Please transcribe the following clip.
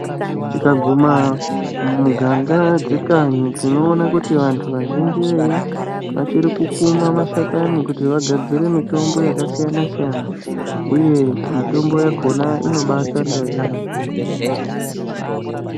Tikaguma mumiganga dzekanyi tinoona vantu vazhinji veyo vachiri kukuuma mashakani kuti vagadzire mitombo yakasiyanasiyana uye mitombo yakona inobaashande yaamho.